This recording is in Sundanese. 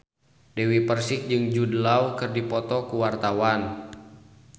Dewi Persik jeung Jude Law keur dipoto ku wartawan